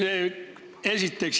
Seda esiteks.